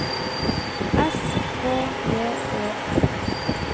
S K J Ø N T